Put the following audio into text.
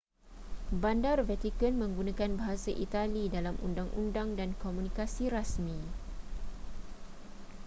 bandar vatican menggunakan bahasa itali dalam undang-undang dan komunikasi rasmi